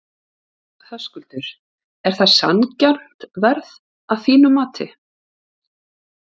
Höskuldur: Er það sanngjarnt verð að þínu mati?